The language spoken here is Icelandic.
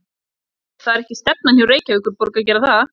Heimir: Það er ekki stefnan hjá Reykjavíkurborg að gera það?